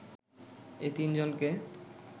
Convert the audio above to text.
এ তিন জনকে